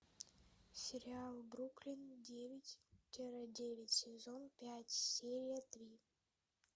сериал бруклин девять тире девять сезон пять серия три